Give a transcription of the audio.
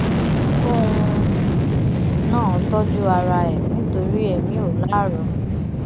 kóun náà tọjú ara ẹ nítorí èmi ò láárọ